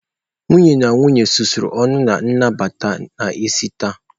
Nwunye na nwunye susuru ọnụ na nnabata n'isi taa.